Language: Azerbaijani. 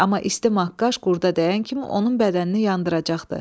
Amma isti maqqaş qurda dəyən kimi onun bədənini yandıracaqdı.